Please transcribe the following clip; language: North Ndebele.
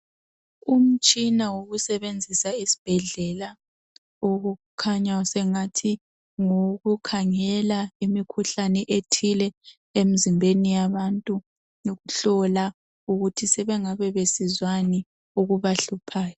Umtshina wokusebenzisa esibhedlela okukhanya sengathi ngowokukhangela imikhuhlane ethile emizimbeni yabantu ukuhlola ukuthi sebengabe besizwani ebahluphayo.